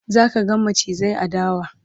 zaka ga macizai a dawa